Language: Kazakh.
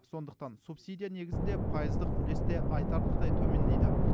сондықтан субсидия негізінде пайыздық үлес те айтарлықтай төмендейді